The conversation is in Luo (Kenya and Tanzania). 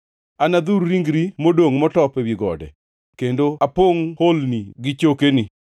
Anadhur ringri modongʼ motop ewi gode kendo apongʼo holni gi chokeni.